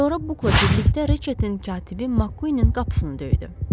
Sonra Bukla birlikdə Reçetin katibi Makkuinin qapısını döydü.